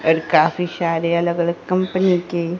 काफी सारे अलग अलग कंपनी के--